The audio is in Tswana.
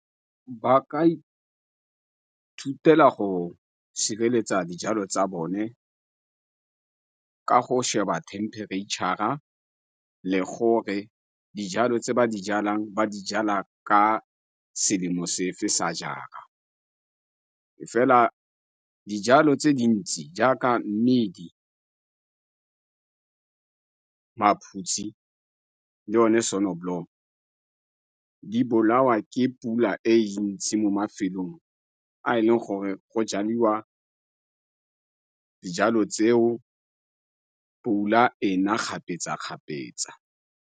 Ba ka ithutela go sireletsa dijalo tsa bone ka go sheba temperature-ra le gore dijalo tse ba di jalang ba dijala ka selemo sefe sa jara. Fela dijalo tse dintsi jaaka mmidi, maphutsi, le one di bolawa ke pula e ntsi mo mafelong a e leng gore go jadiwa dijalo tseo pula e na kgapetsa-kgapetsa.